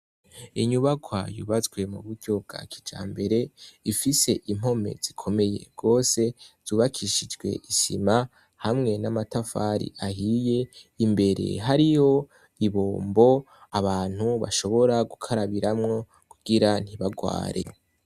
Inyubakwa yubatswe mu buryo bwa kijambare, ifise impome zikomeye gose zubakishijwe isima hamwe n'amatafari ahiye. Imbere hariyo ibombo abantu bashobora gukarabiramwo kugira ntibagware